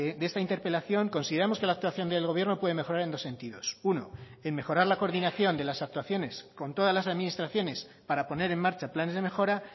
de esta interpelación consideramos que la actuación del gobierno puede mejorar en dos sentidos uno en mejorar la coordinación de las actuaciones con todas las administraciones para poner en marcha planes de mejora